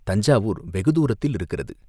"தஞ்சாவூர் வெகு தூரத்தில் இருக்கிறது.